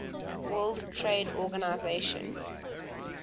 world trade organisation